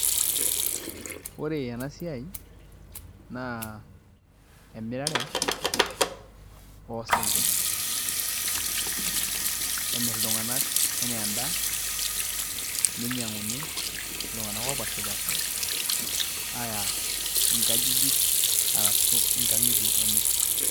Ore ena siai naa emirare oosinkirr emirr iltung'anak enaa endaa ninyiang'uni iltung'anak oopaashipaasha aaya nkajijik arashu nkang'itie enye.